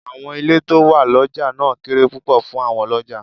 Àwọn ilé tó wà lọjà náà kéré púpọ̀ fún àwọn Ọlọ́jàá.